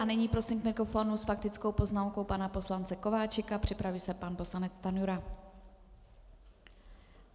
A nyní prosím k mikrofonu s faktickou poznámkou pana poslance Kováčika, připraví se pan poslanec Stanjura.